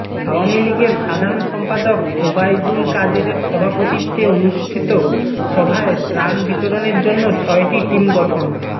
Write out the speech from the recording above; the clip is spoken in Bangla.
আওয়ামী লীগের সাধারণ সম্পাদক ওবায়দুল কাদেরের সভাপতিত্বে অনুষ্ঠিত সভায় ত্রাণ বিতরণের জন্য ছয়টি টিম গঠন